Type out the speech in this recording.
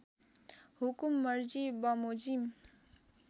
हुकुम मर्जी वमोजिम